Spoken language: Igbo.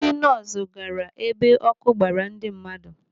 Ndị nọọsụ gaara ebe ọkụ gbaara ndị mmadụ.